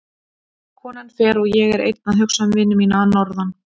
Konan fer og ég er einn að hugsa um vini mína að norðan.